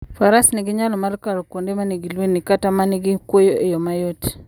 Faras nyalo kalo kuonde ma nigi lwendni kata ma nigi kwoyo e yo mayot.